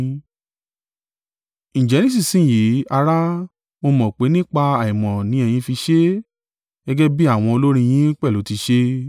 “Ǹjẹ́ nísinsin yìí, ará, mo mọ̀ pé nípa àìmọ̀ ni ẹ̀yin fi ṣe é, gẹ́gẹ́ bí àwọn olórí yín pẹ̀lú ti ṣe.